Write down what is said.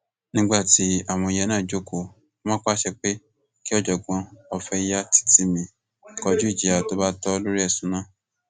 nígbà tí àwọn yẹn náà jókòó wọn pàṣẹ pé kí ọjọgbọn ọfẹyàtìtìmì kọjú ìjìyà tó bá tọ lórí ẹsùn náà